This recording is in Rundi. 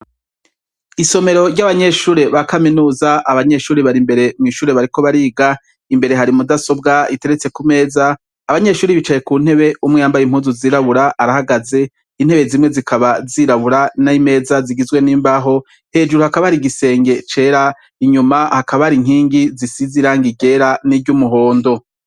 Isomero rya banyeshure ba kaminuza abanyeshure bari imbere bariko bariga ,imbere hari mudasobwa iteretse kumeza, abanyeshure nicaye kuntebe, umuntu yambaye impuzu zirabura arahagaze, intebe zimwe zikaba zirabura, nayo imeza zigizwe nimbaho, hecuru hakaba hari igisenge cera nyuma hakaba irindi size irangi ryera ni ry'umuhondo.